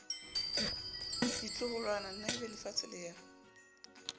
ditloholwana na ebelefatshe le ya